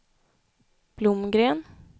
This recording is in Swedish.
Blomgren